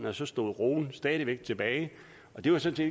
og så stod roen stadig væk tilbage og det var sådan